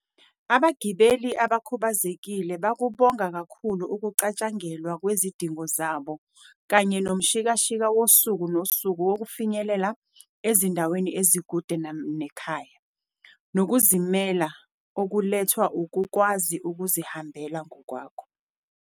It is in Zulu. "Abagibeli abakhubazekile bakubonga kakhulu ukucatshangelwa kwezidingo zabo kanye nomshikashika wosuku nosuku wokufinyelela ezindaweni ezikude nekhaya, nokuzimela okulethwa ukukwazi ukuzihambela ngokwabo."